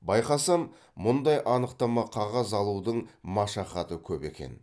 байқасам мұндай анықтама қағаз алудың машақаты көп екен